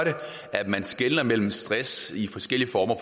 at man skelner mellem stress i forskellige former